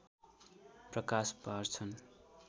प्रकाश पार्छन्